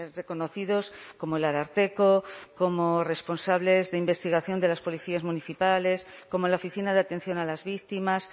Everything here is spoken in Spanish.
reconocidos como el ararteko como responsables de investigación de las policías municipales como la oficina de atención a las víctimas